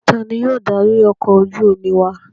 Ta ni yóò darí ọkọ̀ ojú-omi wa?